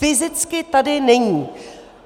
Fyzicky tady není.